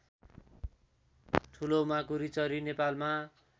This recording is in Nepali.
ठुलो माकुरीचरी नेपालमा